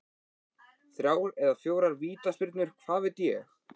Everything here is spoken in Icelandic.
Þrjár eða fjórar vítaspyrnur, hvað veit ég?